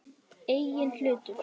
Eigin hlutir.